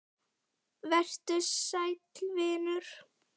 Vertu sæll vinur.